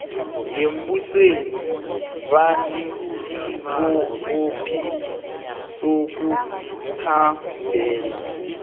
yembusweni banesibopho sokuthambela